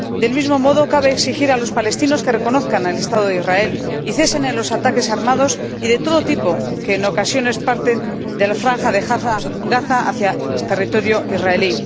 Del mismo modo, cabe exigir a los palestinos que reconozcan el Estado de Israel y cesen los ataques armados y de todo tipo que, en ocasiones, parten de la franja de Gaza hacia territorio israelí.